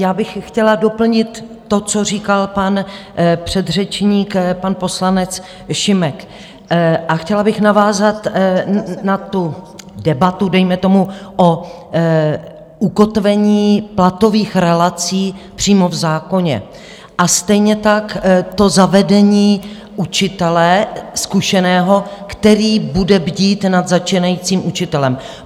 Já bych chtěla doplnit to, co říkal pan předřečník, pan poslanec Šimek, a chtěla bych navázat na tu debatu dejme tomu o ukotvení platových relací přímo v zákoně a stejně tak to zavedení učitele zkušeného, který bude bdít nad začínajícím učitelem.